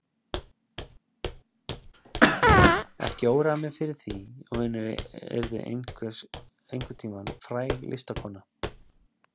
Ekki óraði mig fyrir því að hún yrði einhvern tíma fræg listakona.